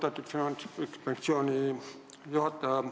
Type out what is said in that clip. Austatud Finantsinspektsiooni juht!